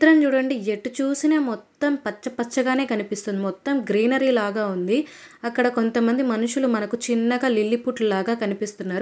త్రం చూడండి ఎటు చూసినా మొత్తం పచ్చపచ్చగానే కనిపిస్తుంది మొత్తం గ్రీనరీ లాగా ఉంది అక్కడ కొంతమంది మనుషులు మనకు చిన్నగా లిల్లీపుట్ లాగా కనిపిస్తున్నారు.